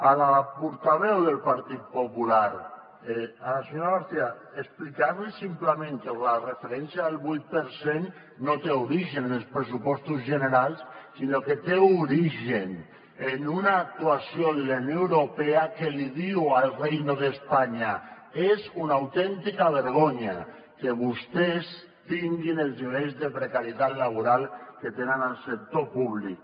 a la portaveu del partit popular a la senyora garcía explicar li simplement que la referència del vuit per cent no té origen en els pressupostos generals sinó que té origen en una actuació de la unió europea que li diu al reino de españa és una autèntica vergonya que vostès tinguin els nivells de precarietat laboral que tenen al sector públic